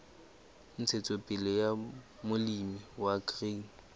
ntshetsopele ya molemi wa grain